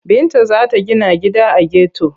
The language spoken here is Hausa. Binta za ta gina gida a geto.